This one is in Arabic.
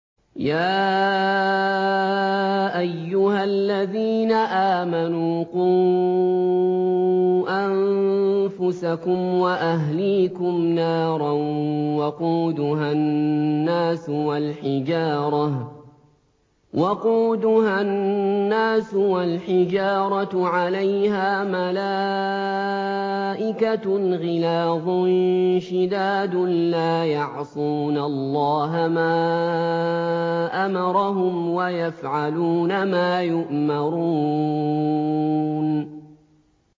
يَا أَيُّهَا الَّذِينَ آمَنُوا قُوا أَنفُسَكُمْ وَأَهْلِيكُمْ نَارًا وَقُودُهَا النَّاسُ وَالْحِجَارَةُ عَلَيْهَا مَلَائِكَةٌ غِلَاظٌ شِدَادٌ لَّا يَعْصُونَ اللَّهَ مَا أَمَرَهُمْ وَيَفْعَلُونَ مَا يُؤْمَرُونَ